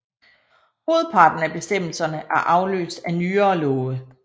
Hovedparten af bestemmelserne er afløst af nyere love